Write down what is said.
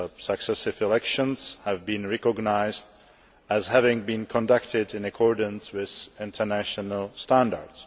Successive elections have been recognised as having been conducted in accordance with international standards.